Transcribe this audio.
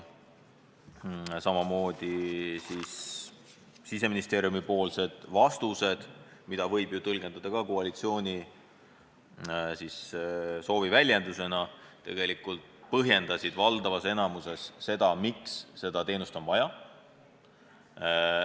Siseministeeriumipoolsed vastused, mida võib ju tõlgendada koalitsiooni soovi väljendusena, põhjendasid valdavas enamikus seda, miks seda teenust on vaja.